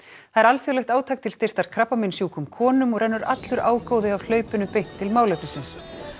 það er alþjóðlegt átak til styrktar krabbameinssjúkum konum og rennur allur ágóði af hlaupinu beint til málefnisins